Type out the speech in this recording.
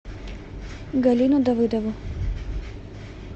галину давыдову